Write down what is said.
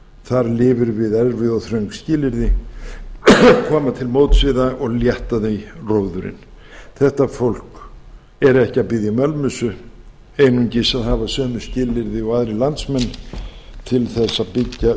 þar lifir við erfið og þröng skilyrði koma til móts við það og létta því róðurinn þetta fólk er ekki að biðja um ölmusu einungis að hafa sömu skilyrði og aðrir landsmenn til þess